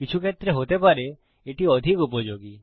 কিছু ক্ষেত্রে হতে পারে এটি অধিক উপযোগী